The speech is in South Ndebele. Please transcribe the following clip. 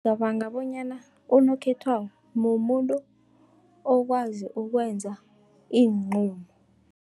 Ngicabanga bonyana unokhetwako, mumuntu okwazi ukwenza iinqumo.